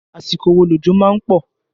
Àsìkò wo òjò má ń pọ̀?